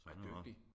Så han har nok